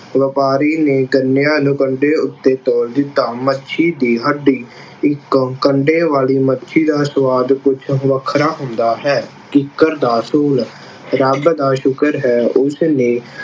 ਵਪਾਰੀ ਨੇ ਗੰਨਿਆਂ ਨੂੰ ਕੰਡੇ ਉੱਤੇ ਤੋਲ ਦਿੱਤਾ। ਮੱਛੀ ਦੀ ਹੱਡੀ ਇੱਕ ਕੰਡੇ ਵਾਲੀ ਮੱਛੀ ਦਾ ਸੁਆਦ ਕੁੱਝ ਵੱਖਰਾ ਹੁੰਦਾ ਹੈ। ਕਿੱਕਰ ਦਾ ਸੂਲ ਰੱਬ ਦਾ ਸ਼ੁਕਰ ਹੈ ਉਸਨੇ